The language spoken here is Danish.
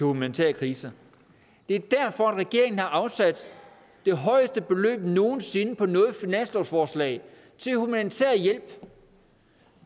humanitære kriser det er derfor regeringen har afsat det højeste beløb nogen sinde på noget finanslovsforslag til humanitær hjælp